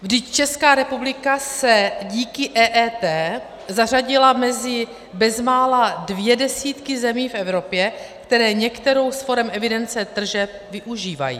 Vždyť Česká republika se díky EET zařadila mezi bezmála dvě desítky zemí v Evropě, které některou z forem evidence tržeb využívají.